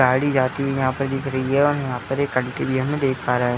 गाड़ी जाती हुई यहाँ पर दिख रही है और यहाँ पर एक आंटी भी हम देख पा रहे --